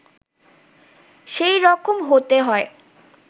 সেই রকম হতে হয়